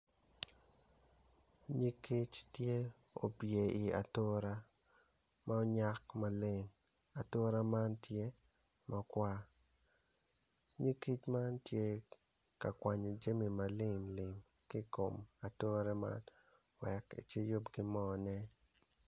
Nyig kic tye opye i atura ma onyak maleng ature man tye makwar nyig kic man tye ka kwanyo jami ma limlim ki i kom ature man wek eciyub ki mone.